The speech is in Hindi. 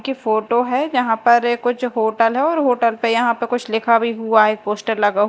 के फोटो है यहां पर ये कुछ होटल है और होटल पे यहां पे कुछ लिखा भी हुआ है पोस्टर लगा--